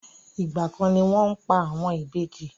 Igba kan ni wọn pa àwọn ìbejì.